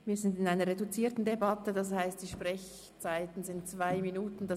Wir befinden uns in einer reduzierten Debatte, das heisst, dass die Sprechzeit jeweils 2 Minuten beträgt;